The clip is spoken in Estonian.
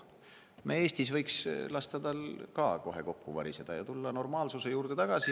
Me Eestis võiks lasta tal ka kohe kokku variseda ja tulla normaalsuse juurde tagasi.